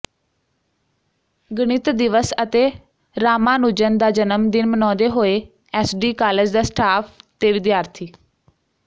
ਗਣਿਤ ਦਿਵਸ ਅਤੇ ਰਾਮਾਨੁਜਨ ਦਾ ਜਨਮ ਦਿਨ ਮਨਾਉਂਦੇ ਹੋਏ ਐਸਡੀ ਕਾਲਜ ਦਾ ਸਟਾਫ ਤੇ ਵਿਦਿਆਰਥੀ